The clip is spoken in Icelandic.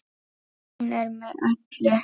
Hún er með í öllu